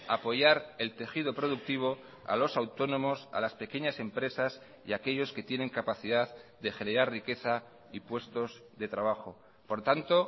a apoyar el tejido productivo a los autónomos a las pequeñas empresas y aquellos que tienen capacidad de generar riqueza y puestos de trabajo por tanto